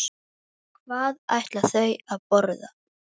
Hvað ætla þau að borða?